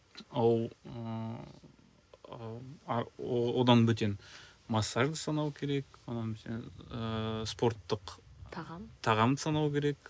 одан бөтен массажды санау керек одан бөтен ыыы спорттық тағам тағамды санау керек